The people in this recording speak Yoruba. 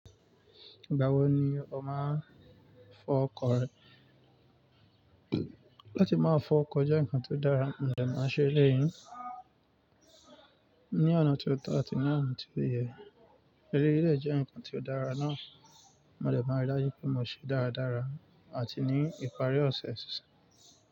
Ìgbà wo ni ọ máa ń fọ ọkọ̀ rẹ? Láti máa fọ ọkọ̀ jẹ́ nǹkan tó dára, mo dẹ̀ máa ń ṣe eléyìí ní ọ̀nà tó tọ́ àti ní ọ̀nà tó yẹ. Eléyii de jẹ́ nǹkan tio dára náà, mo dẹ̀ máa rí daju pé mo ṣe dáradára àti ní ìparí ọ̀sẹ̀ síṣan.